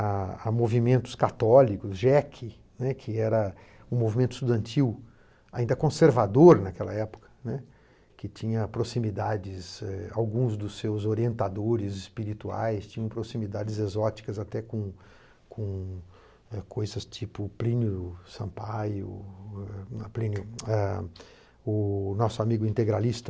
a a movimentos católicos, GEC, né, que era um movimento estudantil, ainda conservador naquela época, né, que tinha proximidades, é... alguns dos seus orientadores espirituais tinham proximidades exóticas até com com coisas tipo Plínio Sampaio, não é Plínio, é... o nosso amigo integralista,